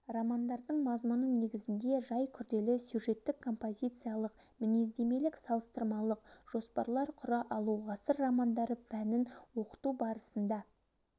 романдардың мазмұны негізіңде жай күрделі сюжеттік-композициялық мінездемелік-салыстырмалық жоспарлар құра алу ғасыр романдары пәнін оқыту барысында